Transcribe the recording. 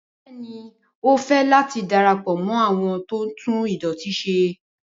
Bẹẹni o fẹ lati darapọ mọ awọn tó tún idọti se